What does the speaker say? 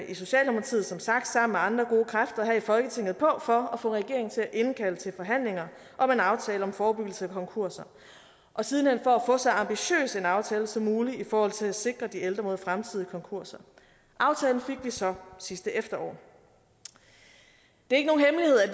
i socialdemokratiet som sagt sammen med andre gode kræfter her i folketinget på for at få regeringen til at indkalde til forhandlinger om en aftale om forebyggelse af konkurser og sidenhen for at få så ambitiøs en aftale som muligt i forhold til at sikre de ældre mod fremtidige konkurser aftalen fik vi så sidste efterår det